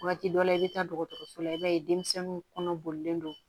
Waati dɔ la i bɛ taa dɔgɔtɔrɔso la i b'a ye denmisɛnninw kɔnɔ bolilen don